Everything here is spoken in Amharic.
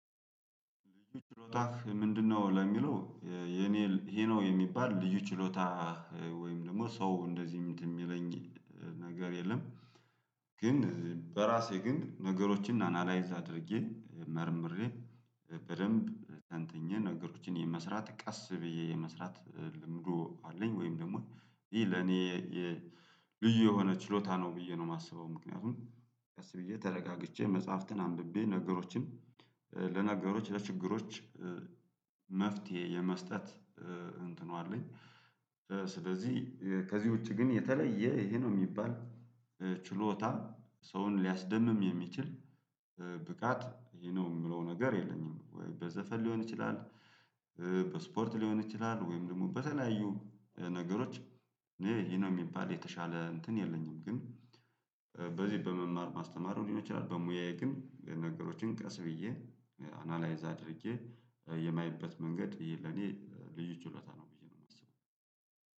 ልዩ ችሎታክ ምንድነው ለሚለው የኔ ይሄ ነው የሚባል ልዩ ችሎታ ወይም ደግሞ ሰው እንደዚህ የሚለኝ ነገር የለም። ግን በራሴ ግን ነገሮችን አናላይዝ አድርጌ መርምሬ በደንብ ተንተኜ ነገሮችን የመስራት ቀስ ብዬ የመስራት ልምዱ አለኝ ወይም ደግሞ ይህ ለኔ ልዩ የሆነ ችሎታ ነው ብዬ ነው የማስበው። ምክንያቱም ቀስ ብዬ ተረጋግቼ መጽሐፍትን አንብቤ ነገሮችን ለነገሮች ለችግሮች መፍትሄ የመስጠት እንትኑ አለኝ። ስለዚህ ከዚህ ውጪ ግን የተለየ ይሄ ነው የሚባል ችሎታ ሰውን ሊያስደምም የሚችል ብቃት ይሄ ነው የምለው ነገር የለኝም ወይ በዘፈን ሊሆን ይችላል በስፖርት ሊሆን ይችላል ወይም ደግሞ በተለያዩ ነገሮች ይሄ ነው የሚባል የተሻለ እንትን የለኝም፤ ግን በዚህ በመማር ማስተማሩ ሊሆን ይችላል በሙያዬ ግን ለነገሮችን ቀስ ብዬ አናላይዝ አድርጌ የማይበት መንገድ ይሄ ለኔ ልዩ ችሎታ ነው ብዬ ነው የማስበው።